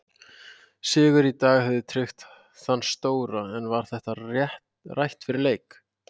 Sigur í dag hefði tryggt þann stóra en var þetta rætt fyrir leik?